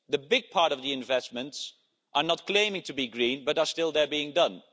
The big part of the investments are not claiming to be green, but are still being done.